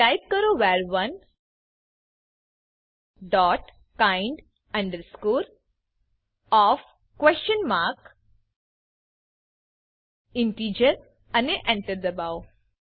તો ટાઈપ કરો વર1 dot kind of question mark integer અને Enter દબાઓ